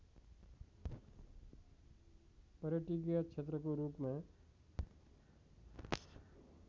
पर्यटकीय क्षेत्रको रूपमा